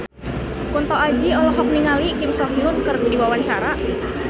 Kunto Aji olohok ningali Kim So Hyun keur diwawancara